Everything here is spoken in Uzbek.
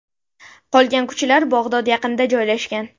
Qolgan kuchlar Bag‘dod yaqinida joylashgan.